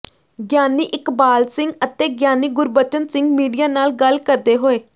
ਗਿਆਨੀ ਇਕਬਾਲ ਸਿੰਘ ਅਤੇ ਗਿਆਨੀ ਗੁਰਬਚਨ ਸਿੰਘ ਮੀਡੀਆ ਨਾਲ ਗੱਲ ਕਰਦੇ ਹੋਏ